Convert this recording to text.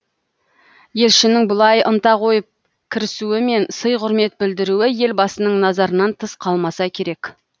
елшінің бұлай ынта қойып кірісуі мен сый құрмет білдіруі елбасының назарынан тыс қалмаса керек